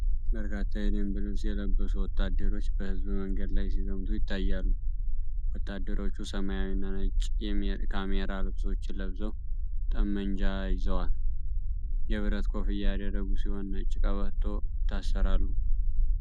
በርካታ የደንብ ልብስ የለበሱ ወታደሮች በሕዝብ መንገድ ላይ ሲዘምቱ ይታያሉ። ወታደሮቹ ሰማያዊና ነጭ ካሜራ ልብሶችን ለብሰው ጠመንጃ ይዘዋል። የብረት ኮፍያ ያደረጉ ሲሆን ነጭ ቀበቶ ይታሠራሉ።